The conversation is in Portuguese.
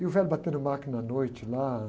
E o velho batendo máquina à noite lá